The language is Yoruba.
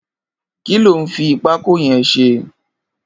Kiló n fi pákó yẹ̀n ṣé?